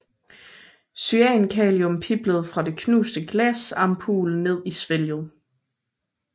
Cyankalium piblede fra den knuste glasampul ned i svælget